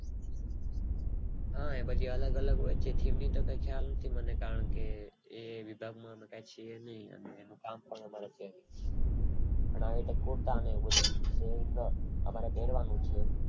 હા એ બધી અલગ અલગ હોય છે theme તો કાય ખ્યાલ નથી કારણે કે એ વિભાગ માં અમે છીએ નય અને એનું કામ કરવા પણ હવે તો અમારે તો દોડવાનું છે